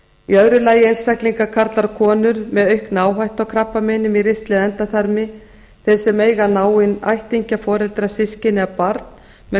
í öðru lagi einstaklingar karlar og konur með aukna áhættu á krabbameinum í ristli eða endaþarmi þeir sem eiga náinn ættingja foreldra systkini eða barn með